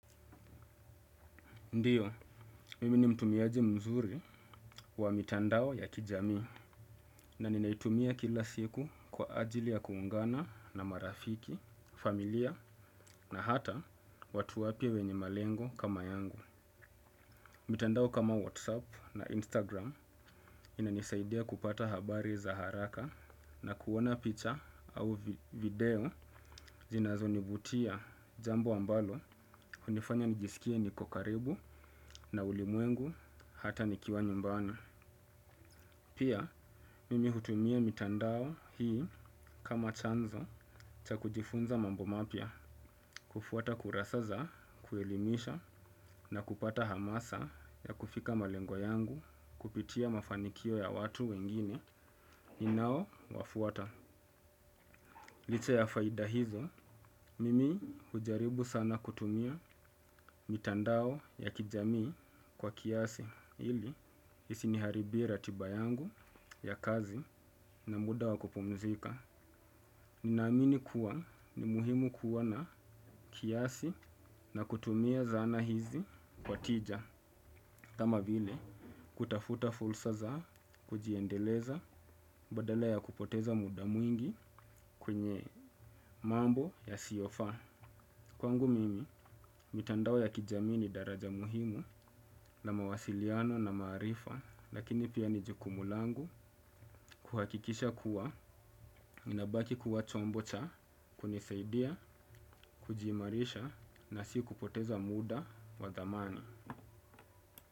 Ndiyo mimi ni mtumiaji mzuri wa mitandao ya kijami na ninaitumia kila siku kwa ajili ya kuungana na marafiki, familia na hata watu wapya wenye malengo kama yangu. Mitandao kama Whatsapp na Instagram inanisaidia kupata habari za haraka na kuona picha au video zinazo nivutia jambo ambalo hunifanya nijisikie niko karibu na ulimwengu hata nikiwa nyumbani. Pia mimi hutumia mitandao hii kama chanzo cha kujifunza mambo mapya kufuata kurasa za kuelimisha na kupata hamasa ya kufika malengo yangu kupitia mafanikio ya watu wengine ninao wafuata. Licha ya faida hizo mimi hujaribu sana kutumia mitandao ya kijamii kwa kiasi ili isi niharibie ratiba yangu ya kazi na muda wa kupumzika. Naamini kuwa ni muhimu kuwa na kiasi na kutumia zana hizi kwa tija. Kama vile kutafuta fursa za kujiendeleza badala ya kupoteza muda mwingi kwenye mambo yasiofaa. Kwangu mimi mitandao ya kijamii ni daraja muhimu na mawasiliano na maarifa lakini pia ni jukumu langu kuhakikisha kuwa inabaki kuwa chombo cha kunisaidia kuji imarisha na si kupoteza muda wa dhamani.